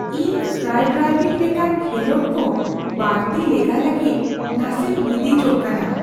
ᱤᱧ ᱥᱠᱟᱭ ᱰᱟᱭᱵᱷᱤᱝ ᱞᱮᱠᱟᱱ ᱠᱷᱮᱞᱳᱰ ᱠᱚ ᱵᱟᱹᱲᱛᱤ ᱞᱮᱜᱟᱭ ᱞᱟᱹᱜᱤᱫ ᱱᱟᱥᱮᱧ ᱦᱤᱫᱤᱡᱚᱜ ᱠᱟᱱᱟ ᱾